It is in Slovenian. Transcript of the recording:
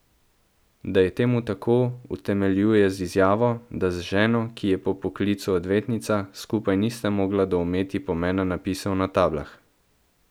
Da je temu tako, utemeljuje z izjavo, da z ženo, ki je po poklicu odvetnica, skupaj nista mogla doumeti pomena napisov na tablah.